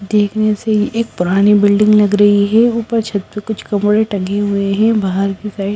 देखने से एक पुरानी बिल्डिंग लग रही है ऊपर छत पर कुछ कपड़े टंगे हुए हैं बाहर की साइड --